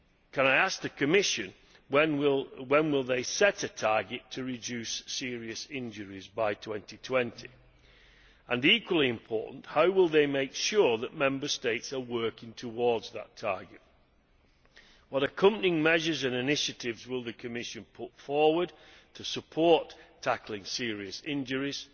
Can I ask the Commission when it will set a target to reduce serious injuries by 2020 and equally important how will it make sure that Member States are working towards that target? What accompanying measures and initiatives will the Commission put forward to support tackling serious injuries,